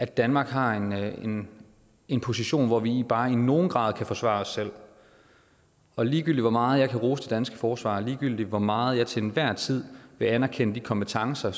danmark har en en position hvor vi bare i nogen grad kan forsvare os selv og ligegyldigt hvor meget jeg kan rose det danske forsvar ligegyldigt hvor meget jeg til enhver tid vil anerkende de kompetencer